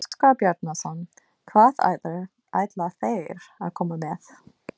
Óskar Bjarnason: Hvað ætla þeir að koma með?